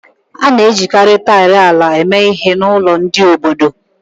A na-ejikarị taịlị ala eme ihe n'ụlọ ndị obodo